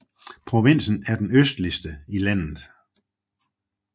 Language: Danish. Provinsen er den østligste i landet